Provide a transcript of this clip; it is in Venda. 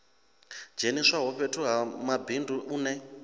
dzheniswaho fhethu ha mabindu une